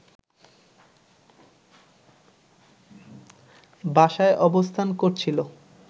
বাসায় অবস্থান করছিল